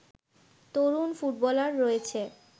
তরুণ footballer রয়েছে